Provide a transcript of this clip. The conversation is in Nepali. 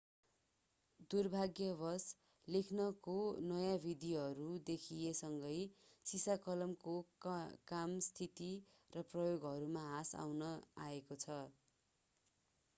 दुर्भाग्यवश लेखनको नयाँ विधिहरू देखिए सँगै सिसाकलमको कम स्थिति र प्रयोगहरूमा ह्रास आएको छ